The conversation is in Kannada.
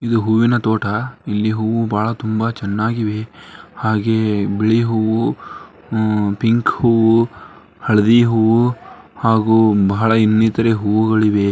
ಇದು ಹೂವಿನ ತೋಟ ಇಲ್ಲಿ ಹೂ ಬಹಳ ತುಂಬಾ ಚೆನ್ನಾಗಿವೆ ಹಾಗೆಯೇ ಬಿಳಿ ಹೂ ಉಮ್ ಪಿಂಕ್ ಹೂ ಹಳದಿ ಹೂ ಹಾಗೂ ಬಹಳ ಇನ್ನಿತರೇ ಹೂಗಳಿವೆ.